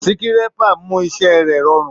Sikerépa mu iṣẹ rẹ ẹ rọrùn.